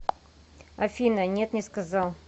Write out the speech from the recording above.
афина нет не сказал